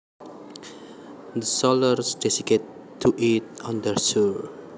The sailors decided to eat on the shore